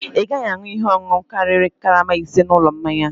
Ị gaghị aṅụ ihe ọṅụṅụ karịrị karama ise n'ụlọ mmanya a!